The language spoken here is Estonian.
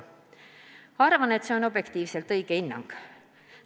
Ma arvan, et see on objektiivselt õige hinnang.